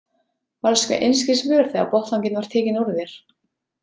Varðstu einskis vör þegar botnlanginn var tekinn úr þér?